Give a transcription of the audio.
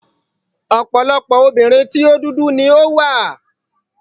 Ọ̀pọ̀lọpọ̀ obìnrin tí o dúdú ni ó wà.